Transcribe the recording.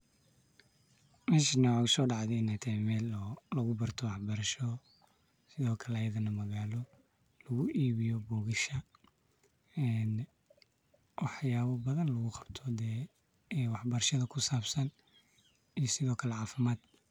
Meshani waxaa igu sodacde in ee taho meel lagu barto wax barasho sithokale iyadhana magalo lagu ibiyo bugasha ee wax yaba badan lagu qabto de wax barashaada kusabsan iyo sithokale cafimaad.